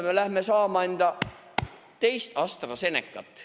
Homme läheme saama enda teist AstraZenecat.